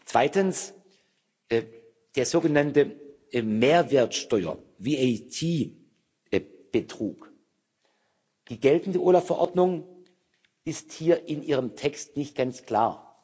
Zweitens, der sogenannte Mehrwertsteuer VAT Betrug Die geltende OLAF Verordnung ist hier in ihrem Text nicht ganz klar.